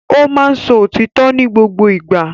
Ó máa ń sọ òtítọ́ ní gbogbo ìgbà